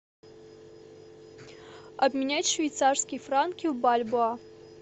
обменять швейцарские франки в бальбоа